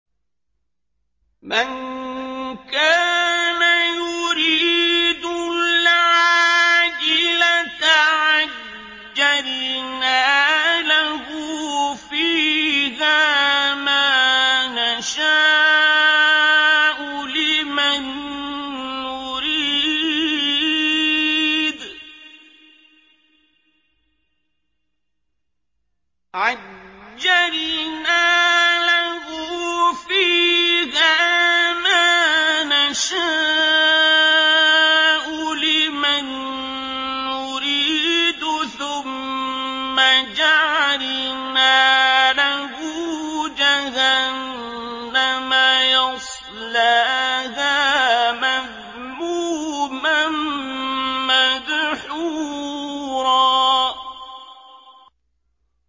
مَّن كَانَ يُرِيدُ الْعَاجِلَةَ عَجَّلْنَا لَهُ فِيهَا مَا نَشَاءُ لِمَن نُّرِيدُ ثُمَّ جَعَلْنَا لَهُ جَهَنَّمَ يَصْلَاهَا مَذْمُومًا مَّدْحُورًا